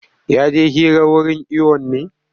Ya je hira wurin iwon ne?